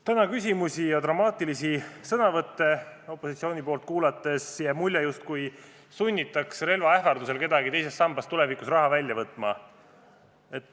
Täna küsimusi ja opositsiooni dramaatilisi sõnavõtte kuulates jäi mulje, et relva ähvardusel sunnitakse kedagi teisest sambast raha välja võtma.